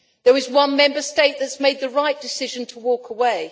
There is one Member State that has made the right decision to walk away.